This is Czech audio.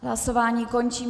Hlasování končím.